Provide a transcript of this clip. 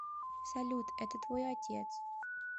салют это твой отец